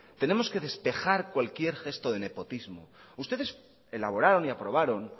tenemos que despejar cualquier gesto de nepotismo ustedes elaboraron y aprobaron